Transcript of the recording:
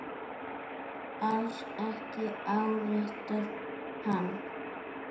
Alls ekki áréttar hann.